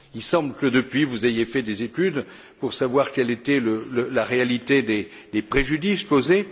Il semble que depuis, vous ayez fait des études pour savoir quelle était la réalité des préjudices causés.